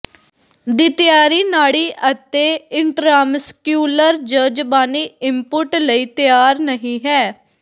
ਦੀ ਤਿਆਰੀ ਨਾੜੀ ਅਤੇ ਇਨਟ੍ਰਾਮਸਕਿਊਲਰ ਜ ਜ਼ਬਾਨੀ ਇੰਪੁੱਟ ਲਈ ਤਿਆਰ ਨਹੀ ਹੈ